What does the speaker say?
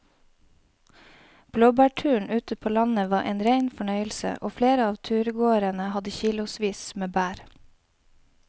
Blåbærturen ute på landet var en rein fornøyelse og flere av turgåerene hadde kilosvis med bær.